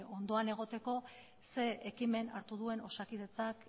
ondoan egoteko zein ekimen hartu duen osakidetzak